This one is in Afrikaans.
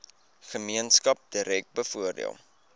gemeenskap direk bevoordeel